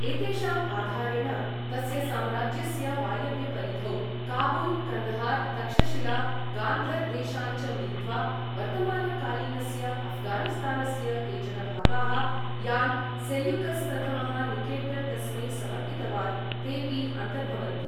एतेषाम् आधारेण, तस्य साम्राज्यस्य वायव्यपरिधौ काबुल्, कन्दहार्, तक्षशिला, गान्धर देशान् च मिलित्वा वर्तमानकालीनस्य अफ्घानिस्तानस्य केचन भागाः, यान् सेल्यूकस् प्रथमः निकेटर् तस्मै समर्पितवान्, तेपि अन्तर्भवन्ति।